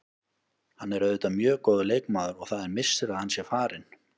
Hann er auðvitað mjög góður leikmaður og það er missir að hann sé farinn.